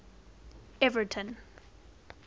everton